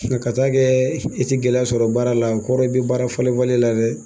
Ka taa kɛ e te gɛlɛya sɔrɔ baara la, o kɔrɔ i be baara falen falen la dɛ!